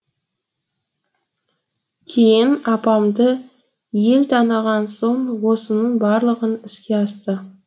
кейін апамды ел таныған соң осының барлығы іске асты